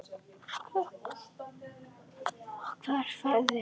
Hvert ferðu nú?